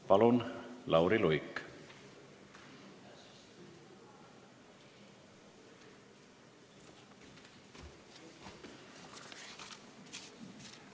Palun, Lauri Luik!